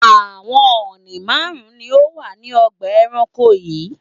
Àwọn ọ̀ọ̀nì márùn-ún ni ó wà ní ọgbà-ẹranko yìí.